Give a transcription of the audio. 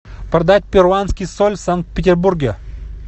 продать перуанский соль в санкт петербурге